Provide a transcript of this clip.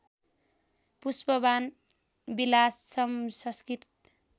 Pushpabana Vilasam Sanskrit